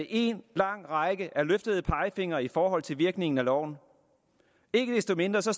en lang række af løftede pegefingre i forhold til virkningen af loven ikke desto mindre står